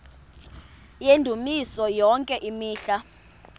yendumiso yonke imihla